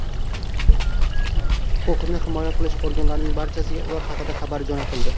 Huquqni himoya qilish organlarining barchasiga ular haqida xabar jo‘natildi.